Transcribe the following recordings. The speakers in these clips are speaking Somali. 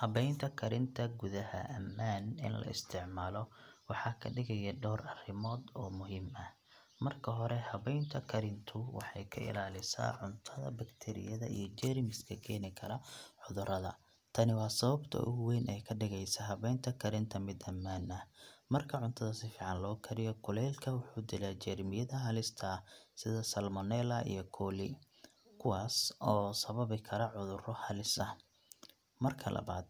Habaynta karinta gudaha ammaan in la isticmaalo waxa ka dhigayaa dhowr arrimood oo muhiim ah. Marka hore, habaynta karintu waxay ka ilaalisaa cuntada bakteeriyada iyo jeermiska keeni kara cudurrada. Tani waa sababta ugu weyn ee ka dhigaysa habaynta karinta mid ammaan ah. Marka cuntada si fiican loo kariyo, kulaylka wuxuu dilaa jeermiyada halista ah, sida salmonella iyo coli, kuwaas oo sababi kara cudurro halis ah. Marka labaad,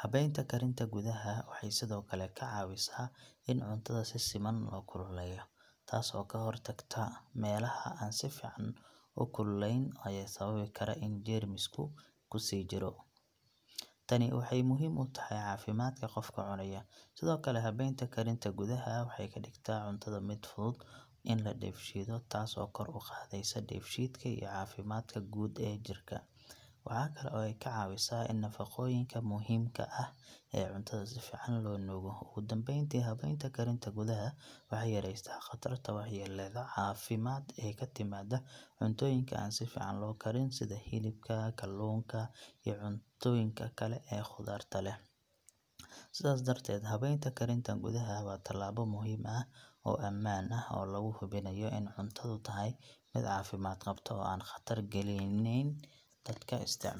habaynta karinta gudaha waxay sidoo kale ka caawisaa in cuntada si siman loo kululeeyo, taas oo ka hortagta meelaha aan si fiican u kululayn ee sababi kara in jeermigu ku sii jiro. Tani waxay muhiim u tahay caafimaadka qofka cunaya. Sidoo kale, habaynta karinta gudaha waxay ka dhigtaa cuntada mid fudud in la dheefshiido, taas oo kor u qaadaysa dheefshiidka iyo caafimaadka guud ee jidhka. Waxa kale oo ay ka caawisaa in nafaqooyinka muhiimka ah ee cuntada si fiican loo nuugo. Ugu dambeyntii, habaynta karinta gudaha waxay yareysaa khatarta waxyeellada caafimaad ee ka timaada cuntooyinka aan si fiican loo karin sida hilibka, kalluunka, iyo cuntooyinka kale ee khatarta leh. Sidaas darteed, habaynta karinta gudaha waa talaabo muhiim ah oo ammaan ah oo lagu hubinayo in cuntadu tahay mid caafimaad qabta oo aan khatar gelinayn dadka isticmaala.